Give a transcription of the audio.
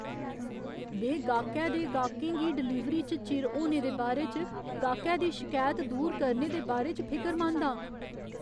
में गाह्‌कै दे गाह्कें गी डलीवरी च चिर होने दे बारे च गाह्‌कै दी शकैत दूर करने दे बारे च फिकरमंद आं।